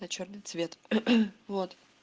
а чёрный цвет вот